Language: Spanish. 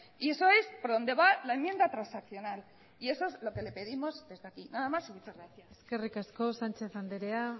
y eso es por donde va la enmienda transaccional y eso es lo que le pedimos desde aquí nada más y muchas gracias eskerrik asko sánchez anderea